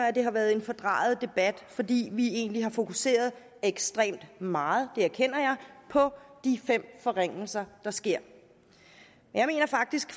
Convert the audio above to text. at det har været en fordrejet debat fordi vi egentlig har fokuseret ekstremt meget det erkender jeg på de fem forringelser der sker jeg mener faktisk